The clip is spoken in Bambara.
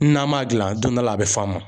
N'an man gilan don dɔ la a be f'an ma.